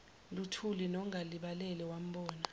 luthuli nolangalibalele wambona